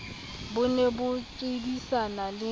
bo ne bo hwebisana le